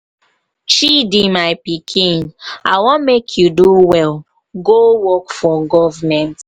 chidi my pikin i wan make you do well go work work for government.